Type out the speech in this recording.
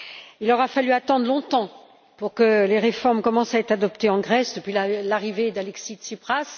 Il aura fallu attendre longtemps pour que les réformes commencent à être adoptées en Grèce depuis l'arrivée d'Alexis Tsipras.